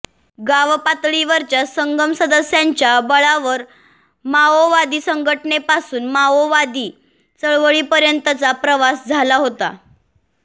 गावपातळीवरच्या संगम सदस्यांच्या बळावर माओवादी संघटनेपासून माओवादी चळवळीपर्यंतचा प्रवास झाला होता